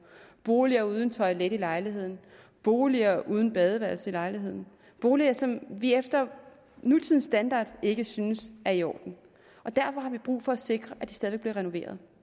boliger uden toilet i lejligheden boliger uden badeværelse i lejligheden boliger som vi efter nutidens standarder ikke synes er i orden derfor har vi brug for at sikre at de stadig væk bliver renoveret